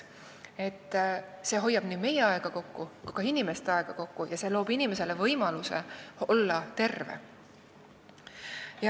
See hoiab kokku nii meie kui ka inimeste aega ja loob inimesele võimaluse olla terve.